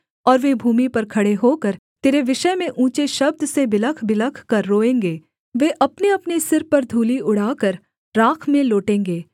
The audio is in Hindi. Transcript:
और वे भूमि पर खड़े होकर तेरे विषय में ऊँचे शब्द से बिलखबिलख कर रोएँगे वे अपनेअपने सिर पर धूलि उड़ाकर राख में लोटेंगे